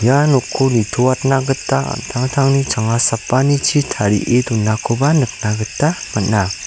nokko nitoatna gita an·tangtangni changa sapanichi tarie donakoba nikna gita man·a.